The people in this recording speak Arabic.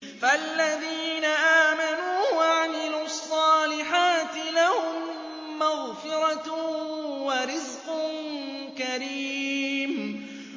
فَالَّذِينَ آمَنُوا وَعَمِلُوا الصَّالِحَاتِ لَهُم مَّغْفِرَةٌ وَرِزْقٌ كَرِيمٌ